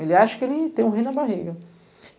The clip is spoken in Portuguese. Ele acha que ele tem um rei na barriga.